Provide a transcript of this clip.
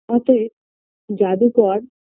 অতএব জাদুকর